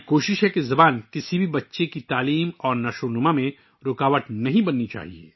ہماری کوشش ہے کہ زبان کسی بھی بچے کی تعلیم اور ترقی میں رکاوٹ نہ بنے